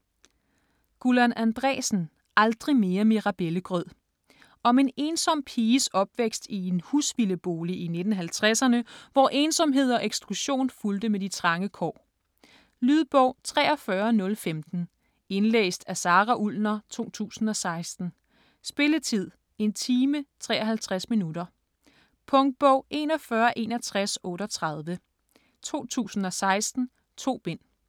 Andreasen, Gullan: Aldrig mere mirabellegrød Om en ensom piges opvækst i en husvildebolig i 1950'erne, hvor ensomhed og eksklusion fulgte med de trange kår. Lydbog 43015 Indlæst af Sara Ullner, 2016. Spilletid: 1 time, 53 minutter. Punktbog 416138 2016. 2 bind.